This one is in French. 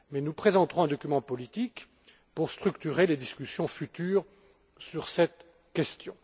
Mais nous présenterons un document politique pour structurer les discussions futures sur cette question.